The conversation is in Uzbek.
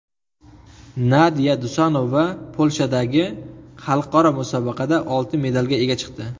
Nadiya Dusanova Polshadagi xalqaro musobaqada oltin medalga ega chiqdi.